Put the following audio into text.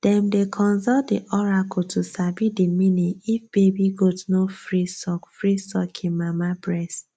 dem dey consult the oracle to sabi the meaning if baby goat no free suck free suck hin mama breast